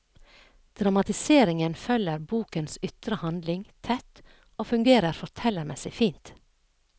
Dramatiseringen følger bokens ytre handling tett og fungerer fortellermessig fint.